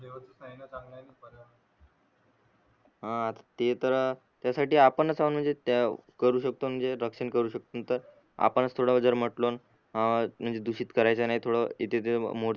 हा ते तर त्यासाठी आपणच आहोन म्हणजे करू शकतो रक्षण करू शकतो तर आपण थोड जर म्हटलं अ म्हणजे दुषित करायचं नाही थोड तिथे त.